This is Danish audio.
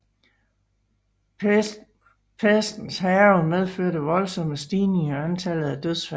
Pestens hærgen medførte voldsomme stigninger i antallet af dødfald